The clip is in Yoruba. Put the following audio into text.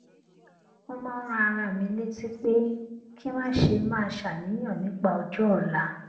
mo máa ń rán ara mi létí pé kí n má ṣe máa ṣàníyàn nípa ọjó òla